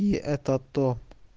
и это-то